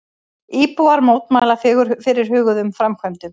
Íbúar mótmæla fyrirhuguðum framkvæmdum